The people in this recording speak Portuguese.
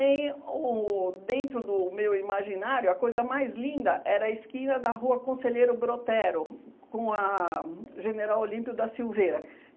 Em o dentro do meu imaginário, a coisa mais linda era a esquina da rua Conselheiro Brotero, com a General Olímpio da Silveira.